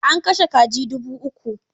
An kashe kaji dubu uku.